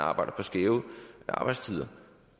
arbejder på skæve arbejdstider